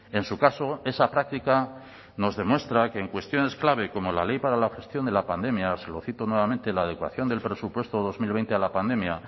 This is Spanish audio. en su caso esa práctica nos demuestra que en cuestiones clave como la ley para la gestión de la pandemia se lo cito nuevamente la adecuación del presupuesto dos mil veinte a la pandemia